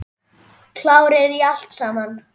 Klárir í allt saman?